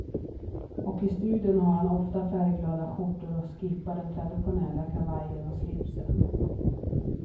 Och i studion har han oftast färgglada skjortor och skippar den traditionella kavajen och slipsen.